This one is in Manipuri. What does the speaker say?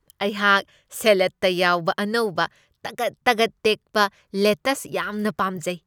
ꯑꯩꯍꯥꯛ ꯁꯦꯂꯠꯇ ꯌꯥꯎꯕ ꯑꯅꯧꯕ ꯇꯒꯠ ꯇꯒꯠ ꯇꯦꯛꯄ ꯂꯦꯇꯁ ꯌꯥꯝꯅ ꯄꯥꯝꯖꯩ ꯫